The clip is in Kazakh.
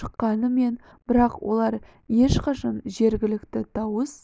шыққанымен бірақ олар ешқашан жеткілікті дауыс